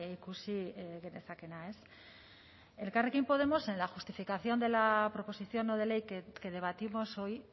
ikusi genezakeena elkarrekin podemos en la justificación de la proposición no de ley que debatimos hoy